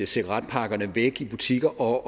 cigaretpakkerne væk i butikker og